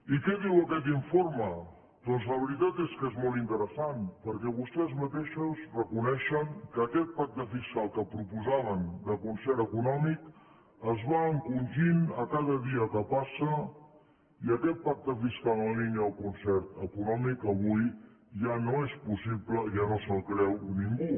i què diu aquest informe doncs la veritat és que és molt interessant perquè vostès mateixos reconeixen que aquest pacte fiscal que proposaven de concert econòmic es va encongint cada dia que passa i aquest pacte fiscal en la línia del concert econòmic avui ja no és possible ja no se’l creu ningú